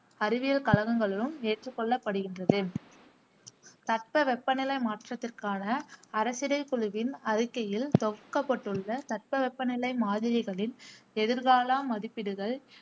அறிவியல் கழகங்களும் ஏற்றுக் கொள்ளப்படுகின்றது தட்பவெப்பநிலை மாற்றத்திற்கான அரசிடைக்குழுவின் அறிக்கையில் தொகுக்கப்பட்டுள்ள தட்பவெப்பநிலை மாதிரிகளின் எதிர்கால மதிப்பீடுகள்